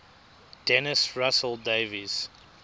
dennis russell davies